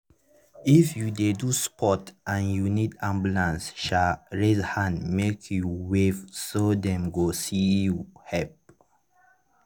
if you dey do sports and you need ambulance um raise hand make you wave so dem go see you help.